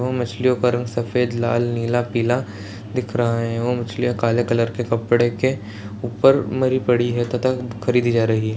ओ मछलियों का रंग सफेद लाल नीला पीला दिख रहा है ओ मछलियाँ काले कलर के कपड़े के ऊपर मरी पड़ी हैं तथा खरीदी जा रही हैं।